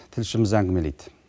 тілшіміз әңгімелейді